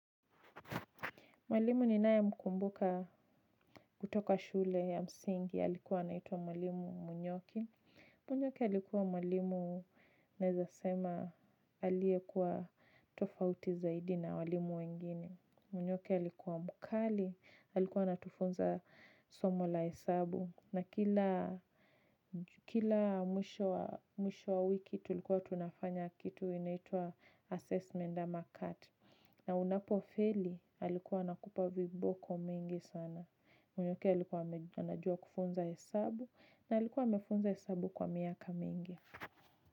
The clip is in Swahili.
Mwalimu ninaye mkumbuka kutoka shule ya msingi, alikuwa anaitwa mwalimu munyoki. Munyoki alikuwa mwalimu naeza sema aliyekuwa tofauti zaidi na walimu wengine. Munyoki alikuwa mkali, alikuwa anatufunza somo la hesabu. Na kila mwisho wa wiki tulikuwa tunafanya kitu inaitwa assessment ama cat. Na unapofeli alikuwa anakupa viboko mingi sana. Munyoki alikuwa anajua kufunza hesabu na alikuwa amefunza hesabu kwa miaka mingi.